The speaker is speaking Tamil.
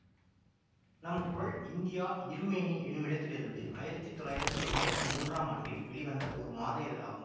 நம் குரல் இந்தியா இருமேனி எனுமிடத்திலிருந்து ஆயிரத்தி தொள்ளாயிரத்தி எம்பத்தி மூன்றாம் ஆண்டில் வெளிவந்த ஒரு மாத இதழாகும்